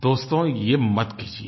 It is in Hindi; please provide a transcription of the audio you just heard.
दोस्तो ये मत कीजिये